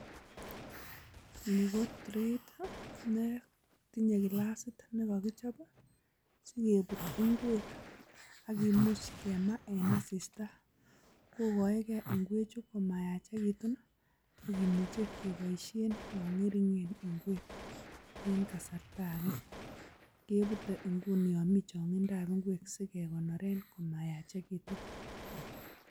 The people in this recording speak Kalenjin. Ni ko treiit ne tinye kilasit ne kogichob sigebutyi ngwek ak kimch kemaa en asista. Koigoeke ingwechu komayachekitun ak kimuch ekeboisien yon ng'ering'en ngwek en kasarta age. Kebute nguni yon mi chongidap ingwek sigekoneren komayachegitun.